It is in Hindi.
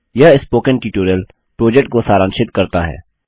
यह स्पोकन ट्यटोरियल प्रोजेक्ट को सारांशित करता है